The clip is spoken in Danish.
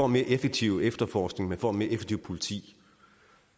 mere effektiv efterforskning og et mere effektivt politi